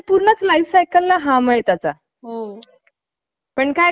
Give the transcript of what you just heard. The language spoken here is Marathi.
भेट ठरली. नरहर पंथा~ पंथही खिशात दमडी नसताना, ध्येयपूर्ती साठी मुंबईला आले होते. एका वसतिगृहात,